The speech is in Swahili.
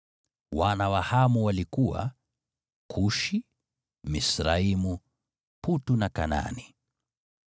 Wana wa Hamu walikuwa: Kushi, Misraimu, Putu na Kanaani.